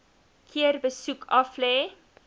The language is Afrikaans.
keer besoek aflê